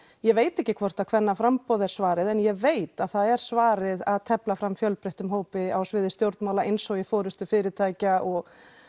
ég veit ekki hvort að kvennaframboð sé svarið en ég veit að það er svarið að tefla fram fjölbreyttum hópi á sviði stjórnmála eins og í forystu fyrirtækja og